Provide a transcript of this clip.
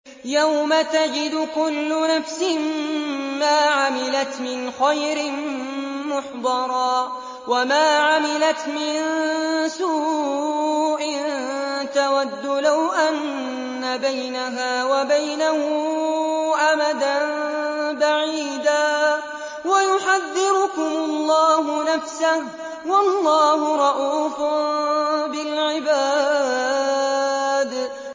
يَوْمَ تَجِدُ كُلُّ نَفْسٍ مَّا عَمِلَتْ مِنْ خَيْرٍ مُّحْضَرًا وَمَا عَمِلَتْ مِن سُوءٍ تَوَدُّ لَوْ أَنَّ بَيْنَهَا وَبَيْنَهُ أَمَدًا بَعِيدًا ۗ وَيُحَذِّرُكُمُ اللَّهُ نَفْسَهُ ۗ وَاللَّهُ رَءُوفٌ بِالْعِبَادِ